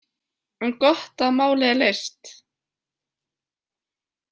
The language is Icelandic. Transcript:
En gott að málið er leyst.